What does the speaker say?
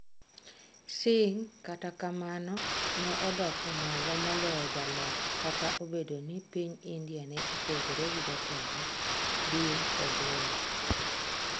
Singh, kata kamano, ne odoko malo moloyo jaloch Kata obedo ni piny India ne opogore gi jotelo, din kod lweny.